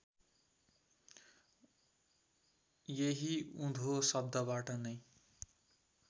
यही उँधो शब्दबाट नै